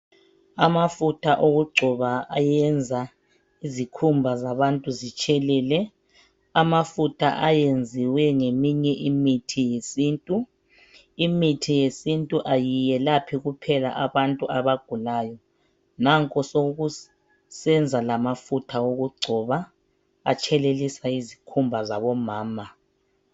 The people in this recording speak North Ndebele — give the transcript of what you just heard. Amafutha okungcoba ayenza izikhumba zabantu zitshelele . Amafutha ayenziwe ngeminye imithi yesintu, imithi yesintu ayiyelaphi kuphela abantu abagulayo. Nanko sokusenza lamafutha wokungcoba ,batshelelisa izikhumba zabo mama.